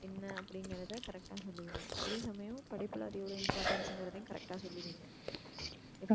என்ன அப்டிங்குறத correct டா சொல்லிடுவிங்க அதே சமயம் படிப்புல அது எவ்வளோ importance சுன்க்ரதையும் correct டா சொல்லிடுவிங்க.